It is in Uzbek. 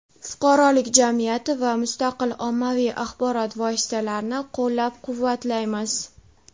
fuqarolik jamiyati va mustaqil ommaviy axborot vositalarini qo‘llab-quvvatlaymiz.